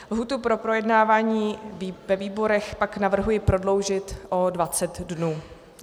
Lhůtu pro projednávání ve výborech pak navrhuji prodloužit o 20 dnů.